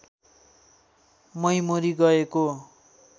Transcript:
मै मरी गएको